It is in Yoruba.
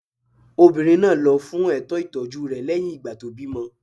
Obìnrin náà lọ fún ètò ìtọ́jú rẹ̀ lẹ́yìn ìgbà tó bímọ